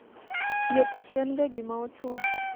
thieth ok en ga gima ochuno